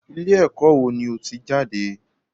Ilé ẹ̀kọ́ wo ni o ti jáde?